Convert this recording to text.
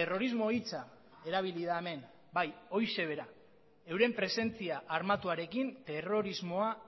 terrorismo hitza erabili da hemen bai horixe bera euren presentzia armatuarekin terrorismoa